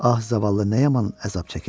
Ah, zavallı nə yaman əzab çəkir?